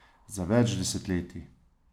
Za več desetletij.